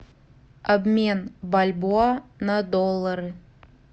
обмен бальбоа на доллары